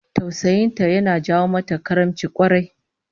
Tausayin ta yana jawo mata karimci kwarai